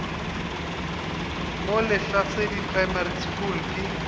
mo lehlasedi primary school ke